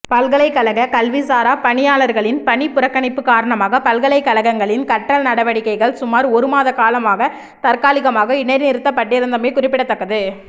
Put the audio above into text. பல்கலைக்கழக கல்விசாரா பணியாளர்களின் பணிப்புறக்கணிப்பு காரணமாக பல்கலைக்கழகங்களின் கற்றல் நடவடிக்கைகள் சுமார் ஒருமாத காலமாக தற்காலிகமாக இடைநிறுத்தப்பட்டிருந்தமை குறிப்பிடத்தக்கது